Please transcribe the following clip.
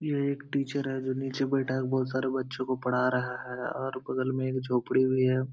ये एक टीचर है जो नीचे बैठा है बहोत सारे बच्चों को पढ़ा रहा है और बगल में एक झोपडी भी है।